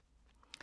DR1